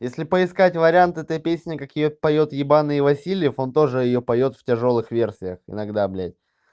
если поискать вариант этой песни какие поёт ебанные васильев он тоже её поёт в тяжёлых версиях иногда блядь